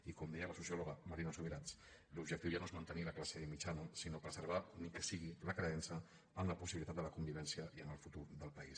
i com deia la sociòloga marina subirats l’objectiu ja no és mantenir la classe mitjana sinó preservar ni que sigui la creença en la possibilitat de la convivència i en el futur del país